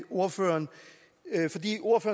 ordføreren